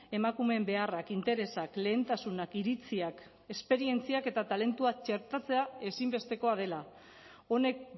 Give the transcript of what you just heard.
emakumeen beharrak interesak lehentasunak iritziak esperientziak eta talentua txertatzea ezinbestekoa dela honek